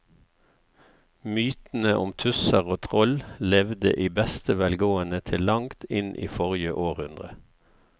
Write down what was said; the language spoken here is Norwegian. Mytene om tusser og troll levde i beste velgående til langt inn i forrige århundre.